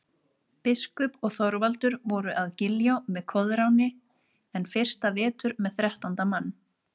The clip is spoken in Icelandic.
Biskup og Þorvaldur voru að Giljá með Koðráni enn fyrsta vetur með þrettánda mann.